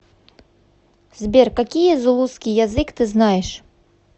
сбер какие зулусский язык ты знаешь